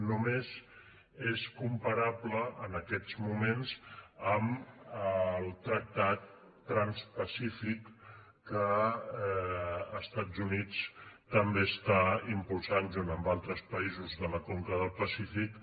només és comparable en aquests moments amb el tractat transpacífic que els estats units també està impulsant junt amb altres països de la conca del pacífic